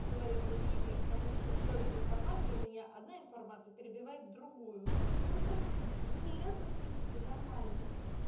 своё мнение потому что столько информации что у меня одна информация перебивает в другую это в принципе нормально